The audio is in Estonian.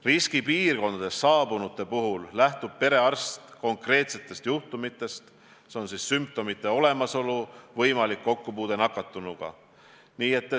Riskipiirkondadest saabunute puhul lähtub perearst konkreetsetest juhtumitest: kas on sümptomid olemas ja võimalik kokkupuude nakatunuga.